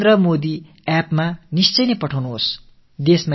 இது தொடர்பான புகைப்படத்தைக் கண்டிப்பாக narendramodiappஇல் அனுப்பி வையுங்கள்